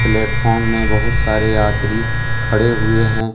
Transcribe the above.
Platform में बहुत सारे यात्री खड़े हुए हैं।